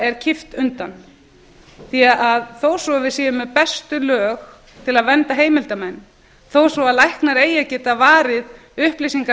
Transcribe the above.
er kippt undan því þó svo við séum með bestu lög til að vernda heimildarmenn þó svo læknar eigi að geta varið upplýsingar